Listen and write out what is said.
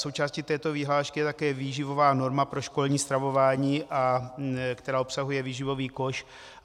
Součástí této vyhlášky je také výživová norma pro školní stravování, která obsahuje výživový koš.